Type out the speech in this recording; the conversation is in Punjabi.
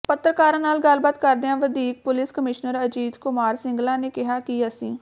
ਪੱਤਰਕਾਰਾਂ ਨਾਲ ਗੱਲਬਾਤ ਕਰਦਿਆਂ ਵਧੀਕ ਪੁਲਿਸ ਕਮਿਸ਼ਨਰ ਅਜੀਤ ਕੁਮਾਰ ਸਿੰਗਲਾ ਨੇ ਕਿਹਾ ਕਿ ਅਸੀਂ